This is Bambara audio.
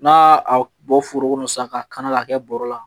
N'a a bɔ foro kɔnɔ sisan k'a kanu ka kɛ bɔrɔ la